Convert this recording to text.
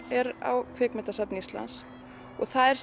er á Kvikmyndasafni Íslands og það er